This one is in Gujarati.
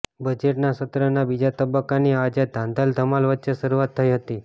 બજેટ સત્રના બીજા તબક્કાની આજે ધાંધલ ધમાલ વચ્ચે શરૂઆત થઇ હતી